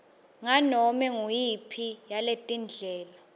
nganome nguyiphi yaletindlela